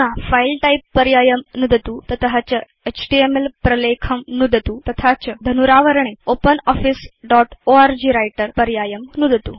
अधुना file type पर्यायं नुदतु तत च एचटीएमएल प्रलेखं नुदतु तथा च धनुरावरणे ओपनॉफिस दोत् ओर्ग व्रिटर पर्यायम्